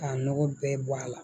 K'a nɔgɔ bɛɛ bɔ a la